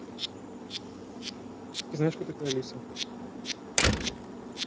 ты знаешь кто такая лиса